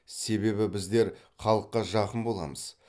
себебі біздер халыққа жақын боламыз